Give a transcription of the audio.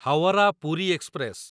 Howrah Puri express